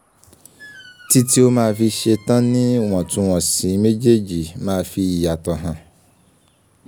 tí tí ó ma fi ṣetánìwọ̀túnwọ̀sì méjèèjì ma fi ìyàtò hàn